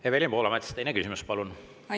Evelin Poolamets, teine küsimus, palun!